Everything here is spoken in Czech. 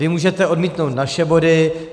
Vy můžete odmítnout naše body.